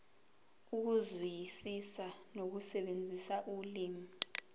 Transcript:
ukuzwisisa nokusebenzisa ulimi